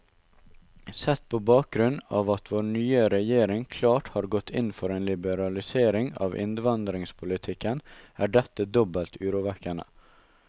Sett på bakgrunn av at vår nye regjering klart har gått inn for en liberalisering av innvandringspolitikken, er dette dobbelt urovekkende.